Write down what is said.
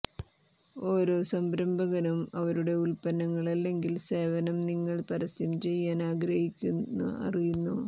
ഓരോ സംരംഭകനും അവരുടെ ഉൽപ്പന്നം അല്ലെങ്കിൽ സേവനം നിങ്ങൾ പരസ്യം ചെയ്യാൻ ആഗ്രഹിക്കുന്ന അറിയുന്നു